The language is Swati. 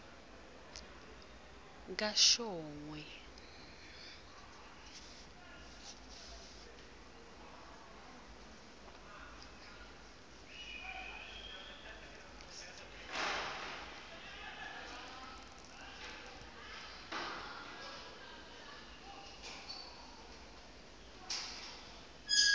kashongwe